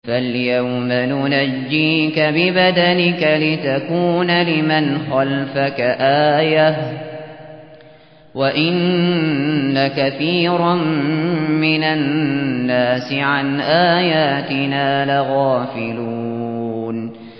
فَالْيَوْمَ نُنَجِّيكَ بِبَدَنِكَ لِتَكُونَ لِمَنْ خَلْفَكَ آيَةً ۚ وَإِنَّ كَثِيرًا مِّنَ النَّاسِ عَنْ آيَاتِنَا لَغَافِلُونَ